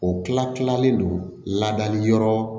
O kila kilalen don ladali yɔrɔ